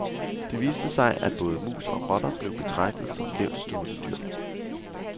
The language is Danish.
Det viste sig, at både mus og rotter blev betragtet som lavtstående dyr.